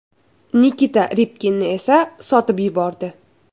Nikita Ribkinni esa sotib yubordi.